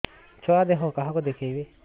ଛୁଆ ଦେହ କାହାକୁ ଦେଖେଇବି